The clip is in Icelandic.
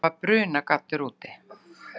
Það var brunagaddur úti.